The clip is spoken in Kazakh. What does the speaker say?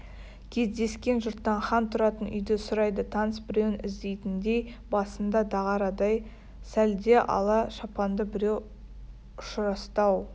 кездескен жұрттан хан тұратын үйді сұрайды таныс біреуін іздейтіндей басында дағарадай сәлде ала шапанды біреу ұшырасты ау